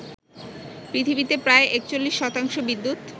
পৃথিবীতে প্রায় ৪১ শতাংশ বিদ্যুত